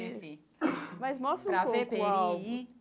Ceci Mas mostra um pouco o álbum.